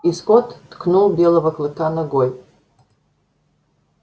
и скотт ткнул белого клыка ногой